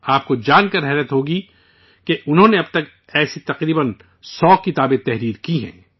آپ کو جان کر حیرانی ہوگی کہ انہوں نے اب تک ایسی تقریباً 100 کتابیں لکھ ڈالی ہیں